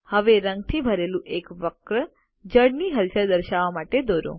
હવે રંગથી ભરેલું એક વક્ર જળની હલચલ દર્શાવવા માટે દોરો